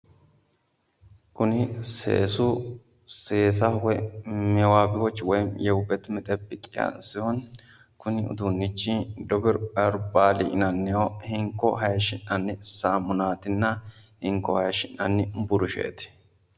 Kuni seesu seesaho woyi mewabiyawochi woyi yewubet metebekiya sihoni, kuni uduunnichi debur herbal yinannihu hinko haayishi'nanni saamunaatinna hinko haayishi'nanni burusheeti.